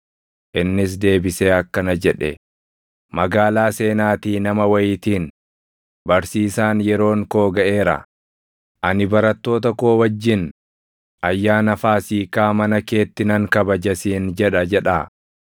Innis deebisee akkana jedhe; “Magaalaa seenaatii nama wayiitiin, ‘Barsiisaan, yeroon koo gaʼeera; ani barattoota koo wajjin Ayyaana Faasiikaa mana keetti nan kabaja siin jedha’ jedhaa.”